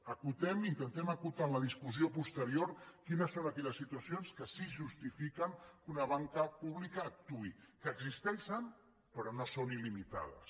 acotem i intentem acotar en la discussió posterior quines són aquelles situacions que sí que justifiquen que una banca pública actuï que existeixen però que no són il·limitades